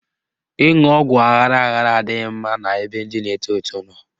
Ịṅụ ọgwụ aghara aghara adịghị mma n'ebe ndị na-eto eto nọ.